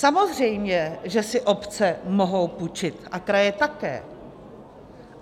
Samozřejmě že si obce mohou půjčit a kraje také.